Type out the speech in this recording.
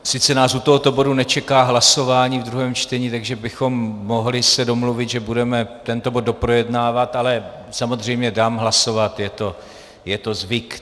Sice nás u tohoto bodu nečeká hlasování v druhém čtení, takže bychom se mohli domluvit, že budeme tento bod doprojednávat, ale samozřejmě dám hlasovat, je to zvyk.